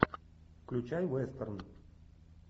включай вестерн